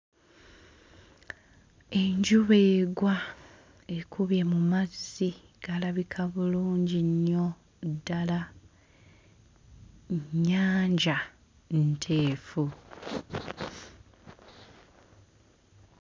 Enjuba egwa ekubye mu mazzi galabika bulungi nnyo ddala nnyanja nteefu.